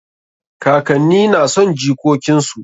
Kakanni na son jikokin su.